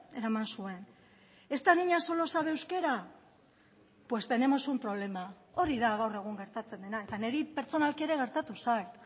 eraman zuen esta niña solo sabe euskera pues tenemos un problema hori da gaur egun gertatzen dena eta niri pertsonalki ere gertatu zait